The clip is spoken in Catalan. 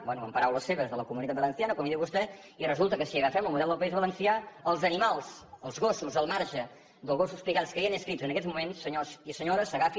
bé en paraules seves de la comunidad valenciana com en diu vostè i resulta que si agafem el model del país valencià els animals els gossos al marge dels gossos pigalls que hi han inscrits en aquests moments senyors i senyores s’agafin